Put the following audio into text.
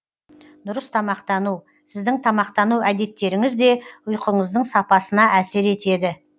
дұрыс тамақтану сіздің тамақтану әдеттеріңіз де ұйқыңыздың сапасына әсер етеді